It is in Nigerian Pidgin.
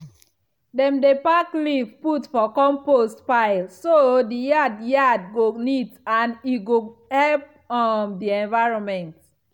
dem dey pack leaf put for compost pile so the yard yard go neat and e go help um the environment.